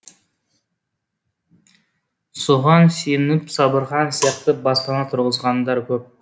соған сеніп сабырхан сияқты баспана тұрғызғандар көп